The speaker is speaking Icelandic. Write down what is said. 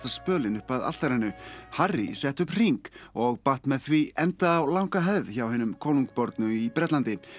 spölinn upp að altarinu Harry setti upp hring og batt með því enda á langa hefð hjá hinum konungbornu í Bretlandi